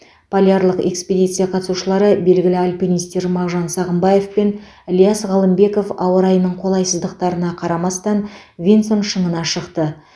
полярлық экспедиция қатысушылары белгілі альпинистер мағжан сағымбаев пен ілияс ғалымбеков ауа райының қолайсыздықтарына қарамастан винсон шыңына шықты